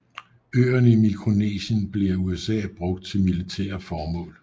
Øerne i Mikronesien blev af USA brugt til militære formål